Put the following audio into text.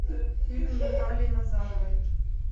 фильм натальи назаровой